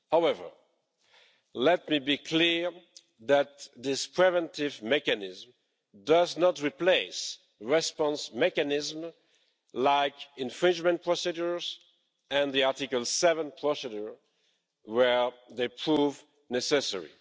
However, let me be clear that this preventive mechanism does not replace response mechanisms like infringement procedures and the Article 7 procedure where they prove necessary.